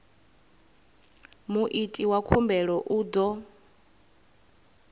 muiti wa khumbelo u ḓo